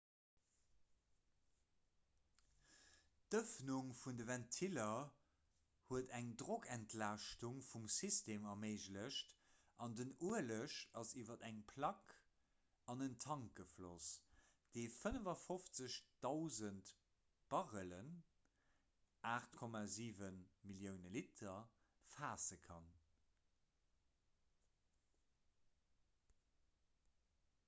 d'ëffnung vun de ventiller huet eng drockentlaaschtung vum system erméiglecht an den ueleg ass iwwer eng plack an en tank gefloss dee 55 000 barrellen 8,7 millioune liter faasse kann